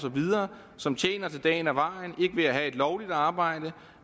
som tjener til dagen og vejen ikke ved at have et lovligt arbejde